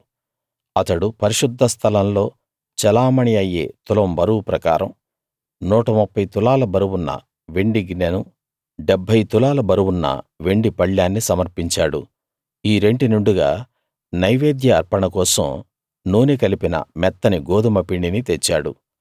అతడు పరిశుద్ధ స్థలంలో చెలామణీ అయ్యే తులం బరువు ప్రకారం 130 తులాల బరువున్న వెండి గిన్నెనూ 70 తులాల బరువున్న వెండి పళ్ళేన్నీ సమర్పించాడు ఈ రెంటి నిండుగా నైవేద్య అర్పణ కోసం నూనె కలిపిన మెత్తని గోదుమ పిండిని తెచ్చాడు